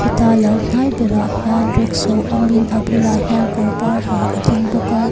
ta lo hnai berah hian rickshaw awmin a bulah hian kawr var ha a ding bawk a.